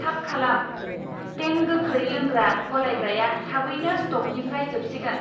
थाब खालाम, तें गोख्रै लोंग्रा गलायग्राया थाबैनो स्टकनिफ्राय जोबसिगोन